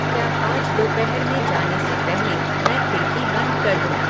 क्या आज दोपहर में जाने से पहले मैं खिड़की बंद कर दूँ